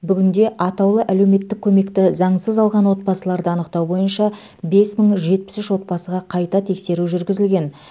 бүгінде атаулы әлеуметтік көмекті заңсыз алған отбасыларды анықтау бойынша бес мың жетпіс үш отбасыға қайта тексеру жүргізілген